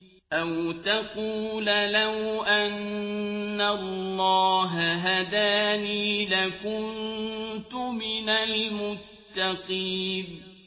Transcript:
أَوْ تَقُولَ لَوْ أَنَّ اللَّهَ هَدَانِي لَكُنتُ مِنَ الْمُتَّقِينَ